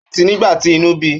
Ó tì í nígbà tí inú bí i